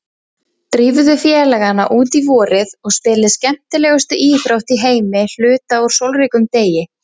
Drífðu félagana út í vorið og spilið skemmtilegustu íþrótt í heimi hluta úr sólríkum degi.